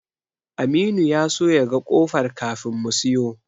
Aminu ya so ya ga ƙofar kafin mu siyo.